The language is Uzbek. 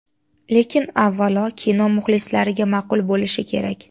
Lekin, avvalo, kino muxlislariga ma’qul bo‘lishi kerak.